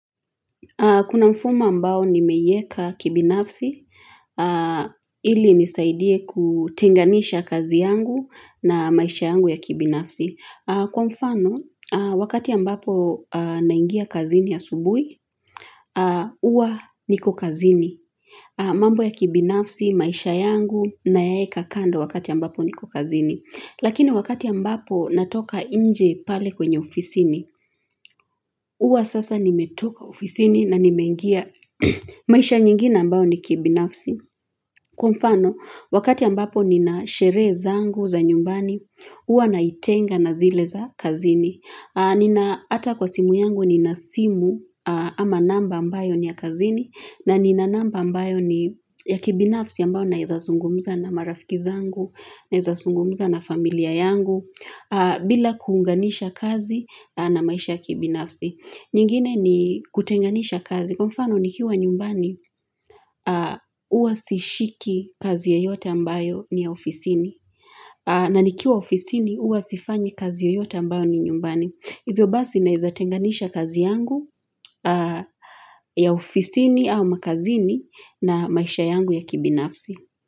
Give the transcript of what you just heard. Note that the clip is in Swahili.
Kuna mfumo ambao nimeuweka kibinafsi, ili unisaidie kutenganisha kazi yangu na maisha yangu ya kibinafsi. Kwa mfano, wakati ambapo naingia kazini asubuhi, huwa niko kazini. Mambo ya kibinafsi, maisha yangu nayaweka kando wakati ambapo nipo kazini. Lakini wakati ambapo natoka nje pale kwenye ofisi, huwa sasa nimetoka ofisini na nimeingia maisha nyingine ambayo ni ya kibinafsi. Kwa mfano, wakati ambapo nina sheria zangu za nyumbani, huwa nazitenga na zile za kazini. Hata kwenye simu yangu nina simu ama namba ambayo ni ya kazini. Na nina namba ambayo ni ya kibinafsi ambayo naweza zungumza na marafiki zangu, naweza zungumza na familia yangu, bila kuunganisha kazi na maisha ya kibinafsi. Nyingine ni kutenganisha kazi. Kwa mfano, nikiwa nyumbani, huwa sishiki kazi yoyote ambayo ni ya ofisini. Na nikiwa ofisini, huwa sifanyi kazi yoyote ambayo ni ya nyumbani. Hivyo basi naweza tenganisha kazi yangu ya ofisini au ya kazini na maisha yangu ya kibinafsi.